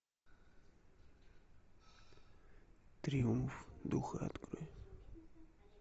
триумф духа открой